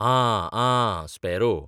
आं, आं, स्पॅरो.